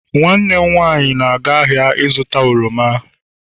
nwanne m nwanyi na-aga ahia zuta oroma